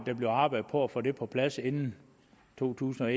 der bliver arbejdet for at få det på plads inden to tusind og